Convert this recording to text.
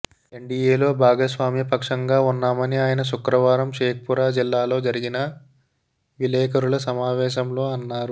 ఎన్డీఏలో భాగస్వామ్యపక్షంగా ఉన్నామని ఆయన శుక్రవారం షేక్పురా జిల్లాలో జరిగిన విలేఖరుల సమావేశంలో అన్నారు